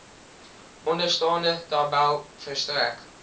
onderstaande tabel verstrek